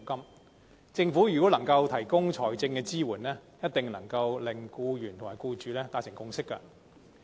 如果政府能夠提供財政支援，一定能夠令僱員和僱主達成共識。